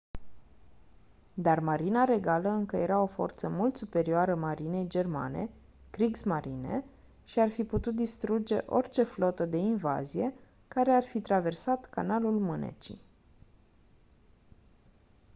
dar marina regală încă era o forță mult superioară marinei germane kriegsmarine” și ar fi putut distruge orice flotă de invazie care ar fi traversat canalul mânecii